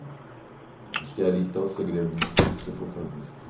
Acho que é ali que está o segredo de tudo o que o senhor for fazer.